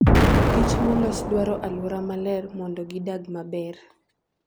Kich molos dwaro aluora maler nmondo gidag maber.